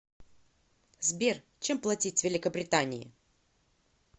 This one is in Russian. сбер чем платить в великобритании